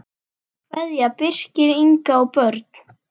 Kveðja, Birkir, Inga og börn.